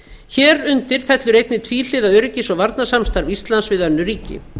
hér undir fellur einnig tvíhliða öryggis og varnarsamstarf íslands við önnur ríki